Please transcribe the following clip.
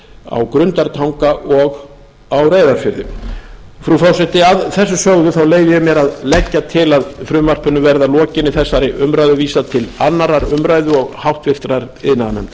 á grundartanga og reyðarfirði frú forseti að þessu sögðu leyfi ég mér að leggja til að frumvarpinu verði að lokinni þessari umræðu vísað til annarrar umræðu og háttvirtur iðnaðarnefndar